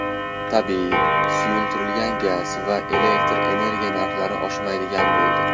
Tabiiy, suyultirilgan gaz va elektr energiya narxlari oshmaydigan bo‘ldi.